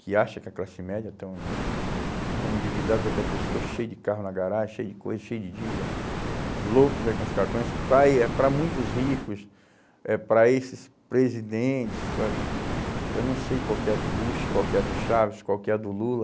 que acha que a classe média estão estão endividados até o pescoço, cheio de carro na garagem, cheio de coisa, cheio de dívida, loucos aí com os cartões, para eh muitos ricos, eh para esses presidentes, por exemplo, eu não sei qual que é a do Bush, qual que é a do Chaves, qual que é a do Lula,